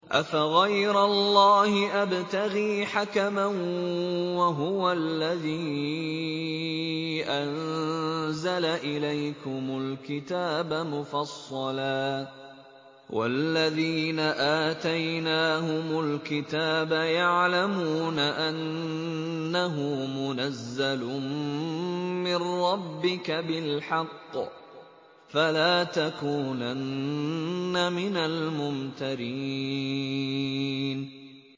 أَفَغَيْرَ اللَّهِ أَبْتَغِي حَكَمًا وَهُوَ الَّذِي أَنزَلَ إِلَيْكُمُ الْكِتَابَ مُفَصَّلًا ۚ وَالَّذِينَ آتَيْنَاهُمُ الْكِتَابَ يَعْلَمُونَ أَنَّهُ مُنَزَّلٌ مِّن رَّبِّكَ بِالْحَقِّ ۖ فَلَا تَكُونَنَّ مِنَ الْمُمْتَرِينَ